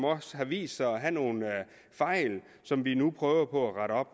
også har vist sig at have nogle fejl som vi nu prøver på at rette op